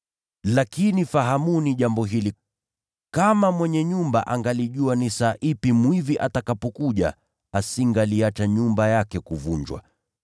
Lakini fahamuni jambo hili: Kama mwenye nyumba angalijua saa mwizi atakuja, asingaliiacha nyumba yake kuvunjwa.